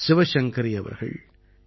சிவசங்கரி அவர்கள் ஏ